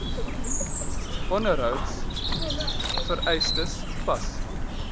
onderhouds vereistes pas